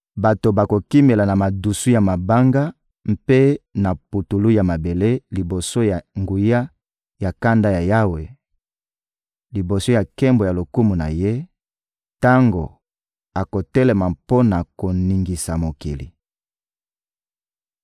Bato bakokimela na madusu ya mabanga mpe na putulu ya mabele liboso ya nguya ya kanda ya Yawe, liboso ya nkembo ya lokumu na Ye, tango akotelema mpo na koningisa mokili.